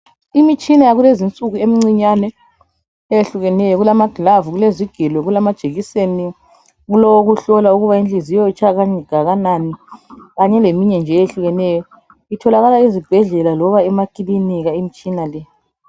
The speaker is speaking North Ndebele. Imitshina yakulezinsuku emncinyane eyehlukeneyo. Kulamaglavu, kulezigelo, kulamajekiseni, kulowokuhlola ukuba inhliziyo itshaya kangakanani kanye leminye nje eyehlukeneyo. Itholakala ezibhedlela loba emakilinika imtshina le.